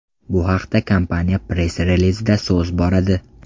Bu haqda kompaniya press-relizida so‘z boradi .